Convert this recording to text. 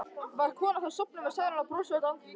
Var konan þá sofnuð með sælunnar bros á öllu andlitinu.